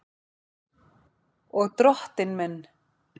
Og Drottinn minn!